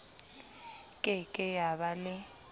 ke ke ya ba le